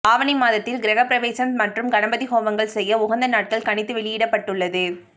ஆவணி மாதத்தில் கிரஹப்பிரவேசம் மற்றும் கணபதி ஹோமங்கள் செய்ய உகந்த நாட்கள் கணித்து வெளியிடப்பட்டுள்ளது